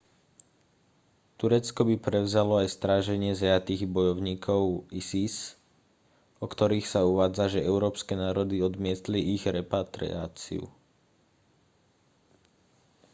turecko by prevzalo aj stráženie zajatých bojovníkov isis o ktorých sa uvádza že európske národy odmietli ich repatriáciu